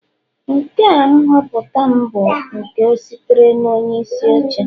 Nke a nhọpụta m bụ nke sitere na onyeisi oche